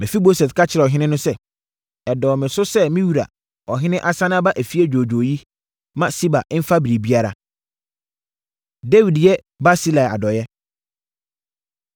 Mefiboset ka kyerɛɛ ɔhene no sɛ, “Ɛdɔɔ me so sɛ me wura ɔhene asane aba efie dwoodwoo yi, ma Siba mfa biribiara.” Dawid Yɛ Barsilai Adɔeɛ